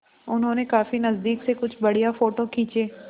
उन्होंने काफी नज़दीक से कुछ बढ़िया फ़ोटो खींचे